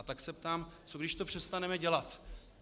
A tak se ptám: Co když to přestaneme dělat?